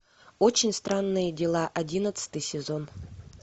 очень странные дела одиннадцатый сезон